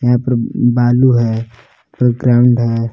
यहां पर बालू है ग्राउंड है।